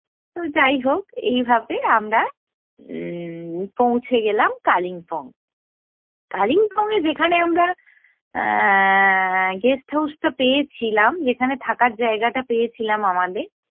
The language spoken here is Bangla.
তো যাই হোক, এইভাবে আমরা উম্ম পৌঁছে গেলাম কালিম্পং। কালিম্পং এ যেখানে আমরা এ্যা guest house টা পেয়েছিলাম যেখানে থাকার জায়গা টা পেয়েছিলাম আমাদের,